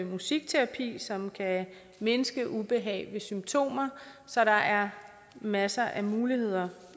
musikterapi som kan mindske ubehag ved symptomer så der er masser af muligheder